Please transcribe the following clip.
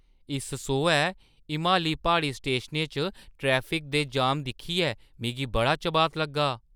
इस सोहै हिमाली प्हाड़ी स्टेशनें च ट्रैफिक दे जाम दिक्खियै मिगी बड़ा चबात लग्गा!